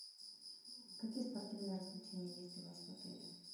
какие спортивные развлечения есть у вас в отеле